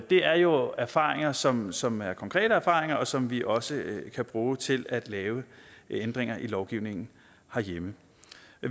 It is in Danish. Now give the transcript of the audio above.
det er jo erfaringer som som er konkrete erfaringer og som vi også kan bruge til at lave ændringer i lovgivningen herhjemme